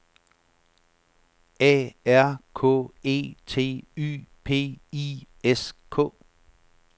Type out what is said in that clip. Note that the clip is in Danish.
A R K E T Y P I S K